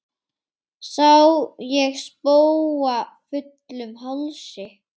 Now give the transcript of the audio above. Sá ég spóa fullum hálsi.